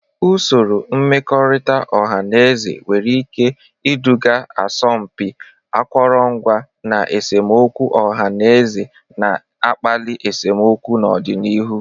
Usoro mmekọrịta ọha na eze nwere ike iduga asọmpi akụrụngwa, na esemokwu ọha na eze na-akpali esemokwu n'ọdịnihu.